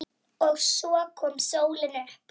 OG SVO KOM SÓLIN UPP.